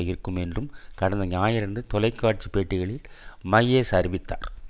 இருக்கும் என்று கடந்த ஞாயிறன்று தொலைக்காட்சி பேட்டிகளில் மையர்ஸ் அறிவித்தார்